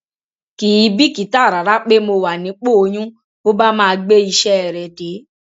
kì í bìkítà rárá pé mo wà nípò oyún bó bá máa gbé iṣẹ rẹ dé